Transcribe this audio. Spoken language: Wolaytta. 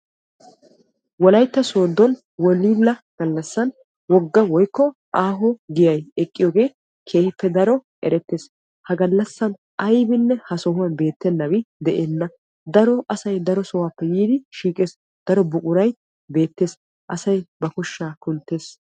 WOlaytta soodon woolilla galassan wogga gita giyay eqqees. Ha giyan asay ubba heerappe yiiddi bana koshabba shamees ba koshaa kunttees.